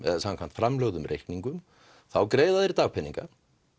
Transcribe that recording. samkvæmt framlögðum reikningum þá greiða þeir dagpeninga